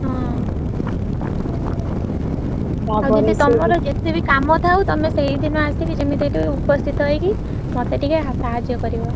ହଁ ଆଉ ଦିଦି ତମର ଯେତେ ବି କାମ ଥାଉ ତମେ ସେଇଦିନ ଆସିକି ଯେମିତି ଏଠି ଉପସ୍ଥିତ ହେଇକି ମତେ ଟିକେ ସାହାଯ୍ୟ କରିବ।